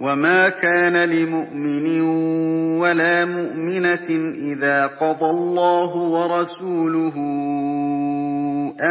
وَمَا كَانَ لِمُؤْمِنٍ وَلَا مُؤْمِنَةٍ إِذَا قَضَى اللَّهُ وَرَسُولُهُ